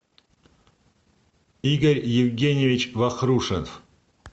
игорь евгеньевич вахрушев